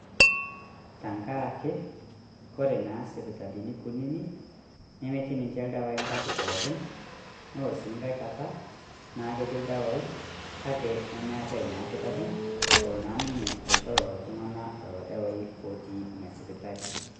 Tang'araki kore naa sipitalini kuutiti nemeetii ninchee ldewai nkata pookin neloo sii nkai nkaata naa ketii ldewai kaki nimeetai naa lkitarii oloo naa ninye ashoo lolo ltung'ana lolo ldewai otii nia sipitali.